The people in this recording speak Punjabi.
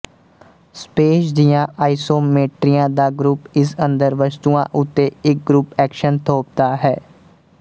ਸਪੇਸ ਦੀਆਂ ਆਇਸੋਮੀਟਰੀਆਂ ਦਾ ਗਰੁੱਪ ਇਸ ਅੰਦਰ ਵਸਤੂਆਂ ਉੱਤੇ ਇੱਕ ਗਰੁੱਪ ਐਕਸ਼ਨ ਥੋਪਦਾ ਹੈ